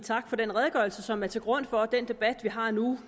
tak for den redegørelse som ligger til grund for den debat vi har nu